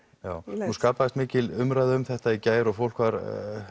um leið nú skapaðist mikil umræða um þetta í gær og fólk var